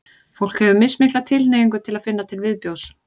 fólk hefur mismikla tilhneigingu til að finna til viðbjóðs